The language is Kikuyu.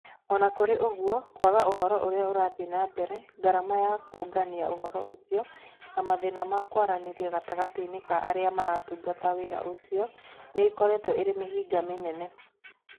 O na kũrĩ ũguo, kwaga ũhoro ũrĩa ũrathiĩ na mbere, ngarama ya kũũngania ũhoro ũcio, na mathĩna ma kwaranĩria gatagatĩ-inĩ ka arĩa marutaga wĩra ũcio, nĩ ikoretwo irĩ mĩhĩnga mĩnene.